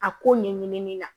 A ko ɲɛɲinini na